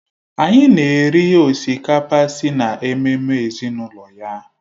Anyị na-eri osikapa si na ememme ezinụlọ ya